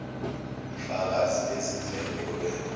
fakazi bezindleko obe